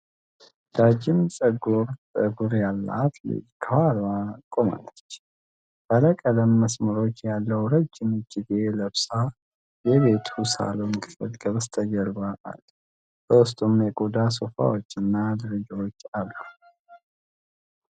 ጃጅም ጥቁር ፀጉር ያላት ልጅ ከኋላዋ ቆማለች። ባለቀለም መስመሮች ያለው ረጅም እጅጌ ለብሳ የቤቱ ሳሎን ክፍል ከበስተጀርባ አለ። በውስጡም የቆዳ ሶፋዎች እና ደረጃዎች አሉ።